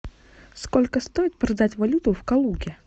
сколько стоит продать валюту в калуге